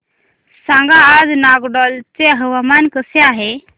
सांगा आज नागालँड चे हवामान कसे आहे